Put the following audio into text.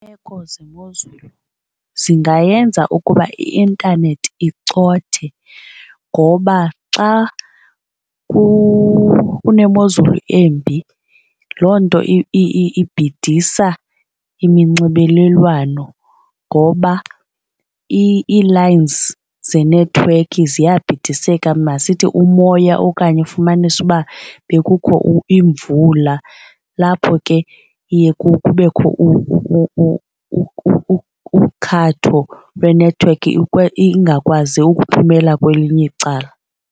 Iimeko zemozulu zingayenza ukuba i-intanethi icothe ngoba xa kunemozulu embi loo nto ibhidisa iminxibelelwano ngoba ii-lines zenethiwekhi ziyabhidiseka masithi umoya okanye ufumanise uba bekukho imvula lapho ke iye kubekho ukhatho lwenethiwekhi ingakwazi ukuphumela kwelinye icala.